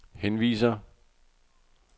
henviser